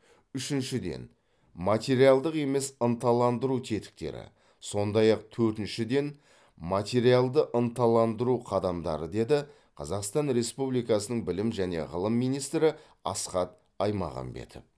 үшіншіден материалдық емес ынталандыру тетіктері сондай ақ төртіншіден материалды ынталандыру қадамдары деді қазақстан республикасының білім және ғылым министрі асхат аймағамбетов